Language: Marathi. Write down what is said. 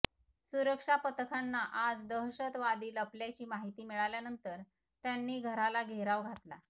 सुरक्षापथकांना आज दहशतवादी लपल्याची माहिती मिळाल्यानंतर त्यांनी घराला घेराव घातला